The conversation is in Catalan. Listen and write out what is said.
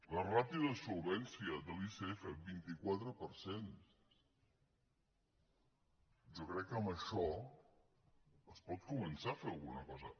la ràtio de solvència de l’icf vint quatre per cent jo crec que amb això es pot començar a fer alguna cosa